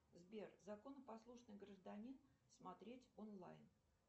сбер законопослушный гражданин смотреть онлайн